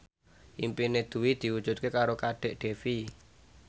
impine Dwi diwujudke karo Kadek Devi